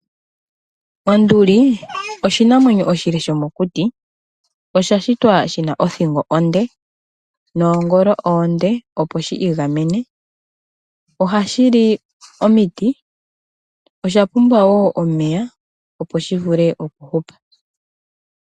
Onduli oshinamwenyo oshile shomokuti osha shitwa shina othingo onde noongolo oonde opo shi igamene ohashi li omiti nosha pumbwa wo omeya opo shi vule okuhupa.